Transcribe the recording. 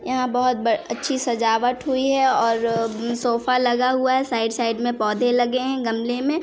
यहाँ पर बहुत ब अच्छी सजावट हुई है और सोफा लगा हुआ है साइड -साइड में पौधे लगे है गमले में --